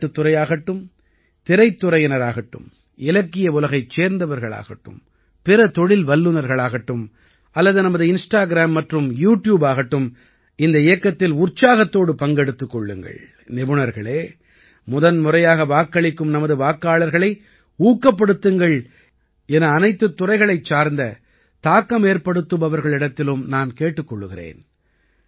விளையாட்டுத் துறையாகட்டும் திரைத்துறையினராகட்டும் இலக்கிய உலகைச் சேர்ந்தவர்களாகட்டும் பிற தொழில் வல்லநர்களாகட்டும் அல்லது நமது இன்ஸ்டாகிராம் மற்றும் யூ ட்யூப் ஆகட்டும் இந்த இயக்கத்தில் உற்சாகத்தோடு பங்கெடுத்துக் கொள்ளுங்கள் நிபுணர்களே முதன்முறையாக வாக்களிக்கும் நமது வாக்காளர்களை ஊக்கப்படுத்துங்கள் என்று என அனைத்துத் துறைகளைச் சார்ந்த தாக்கமேற்படுத்துபவர்களிடத்திலும் நான் கேட்டுக் கொள்கிறேன்